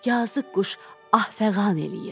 Yazıq quş ah-fəğan eləyir.